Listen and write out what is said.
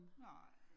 Nej